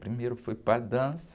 Primeiro eu fui para a dança.